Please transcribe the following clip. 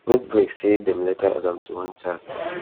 goldberg say dem later add am to one chat